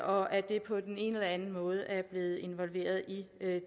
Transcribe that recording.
og at det på den ene anden måde er blevet inkluderet i